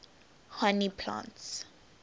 honey plants